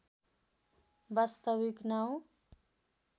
वास्तविक नाउँ